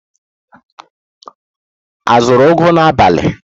A zụrụ ugu n'abalị ụnyaahụ?